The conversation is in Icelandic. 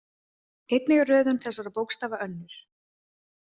Einnig er röðun þessara bókstafa önnur.